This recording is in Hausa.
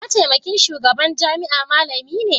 mataimakin shugaban jami'a malami ne?